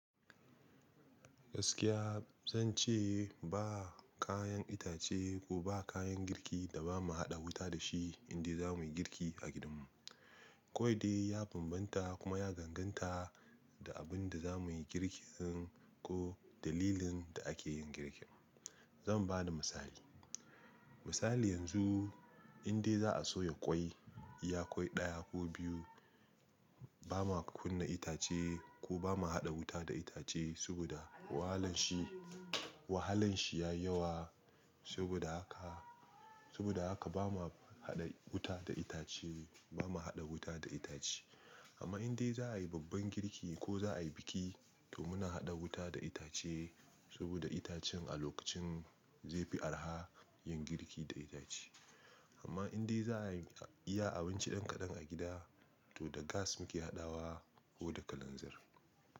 Gaskiya zan ce ba kayan itace ko ba kayan girki da ba mu haɗa wuta da shi indai za mu yi girki a gidanmu. Kawai dai ya bambanta kuma ya danganta da abin da za mu yi girkin ko dalilin da ake yin girkin. Zan ba da misali. Misali yanzu inda za a soya ƙwai, iya ƙwai ɗaya ko biyu ba ma kunna itace kuma ba ma haɗa wuta da itace saboda wahalan shi, wahalan shi ya yawa. Saboda haka, saboda haka ba ma haɗa wuta da itace, ba ma haɗa wuta da itace. Amma indai za a yi babban girki ko za a yi biki to muna haɗa wuta da itace saboda itacen a lokacin zai fi araha yin girki da itace. Amma indai za a iya abinci ɗan kaɗan a gida to da gas muke haɗawa ko da kalanzir.